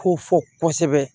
Ko fɔ kosɛbɛ